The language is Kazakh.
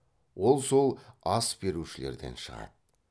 ол сол ас берушілерден шығады